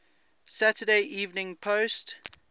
saturday evening post